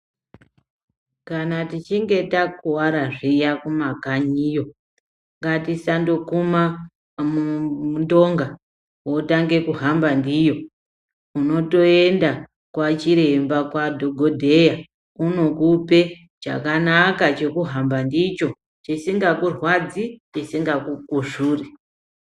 Kana tichinge ta kuvara zviyana ku makanyiyo ngatisango kuma ndonga wotange kuhamba ndiyo uno toenda kwa chiremba kwa dhokodheya vono kupe chakanaka cheku hamba ndicho chisinga kurwadzi chisinga ku kuzvuri.